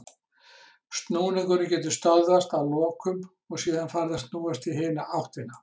Snúningurinn getur þá stöðvast að lokum og síðan farið að snúast í hina áttina.